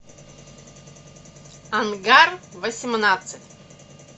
ангар восемнадцать